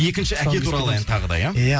екінші әке туралы ән тағы да иә иә